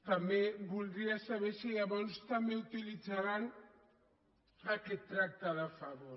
també voldria saber si llavors també utilitzaran aquest tracte de favor